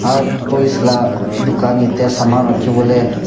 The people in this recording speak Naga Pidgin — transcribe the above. out toys laga tukan yati saman rakhiboli .